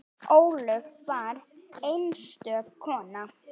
Ólöf var einstök kona.